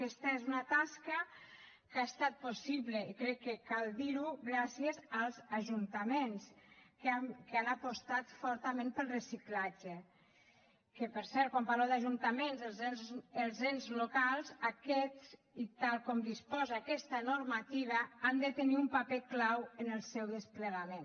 aquesta és una tasca que ha estat possible i crec que cal dirho gràcies als ajuntaments que han apostat fortament pel reciclatge que per cert quan parlo d’ajuntaments els ens locals aquests i tal com disposa aquesta normativa han de tenir un paper clau en el seu desplegament